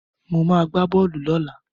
Mo ma gbá bọ́ọ̀lù lọ́la